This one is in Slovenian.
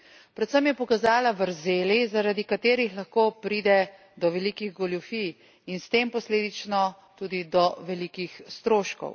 Predvsem je pokazala vrzeli, zaradi katerih lahko pride do velikih goljufij in s tem posledično tudi do velikih stroškov.